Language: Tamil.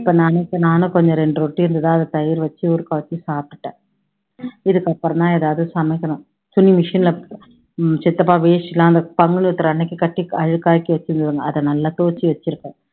இப்போ நானு இப்போ நானும் கொஞ்சம் ரெண்டு ரொட்டி இருந்துது அதை தயிர் வச்சி சாப்பிட்டுட்டேன், இதுக்கப்பறம் தான் எதாவது சமைக்கணும், துணி machine ல உம் சித்தப்பா வேஷ்டி எல்லாம் அங்க பங்குனி உத்திரம் அன்னைக்கு கட்டி அழுக்காக்கி வச்சுருந்துதுங்க அதை நல்லா துவைச்சு வச்சுருக்கேன்